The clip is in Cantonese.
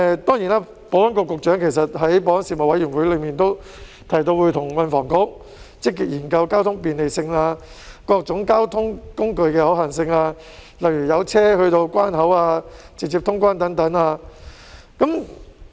當然，保安局局長在保安事務委員會上也提到，會跟運輸及房屋局積極研究交通便利性、各種交通工具的可行性，例如有車到達關口、直接通關等。